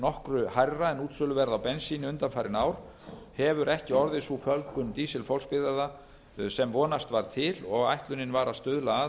nokkru hærra en útsöluverð á bensíni undanfarin ár hefur ekki orðið sú fjölgun dísilfólksbifreiða sem vonast var til og ætlunin var að stuðla að með